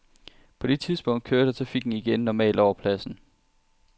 På det tidspunkt kørte trafikken igen normalt over pladsen.